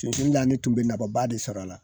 Sunsun na ne tun bɛ nababa de sɔr'a la